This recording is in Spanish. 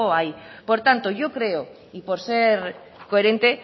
ahí por tanto yo creo y por ser coherente